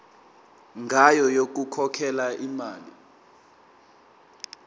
ngayo yokukhokhela imali